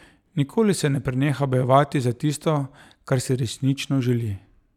Nikoli se ne preneha bojevati za tisto, kar si resnično želi.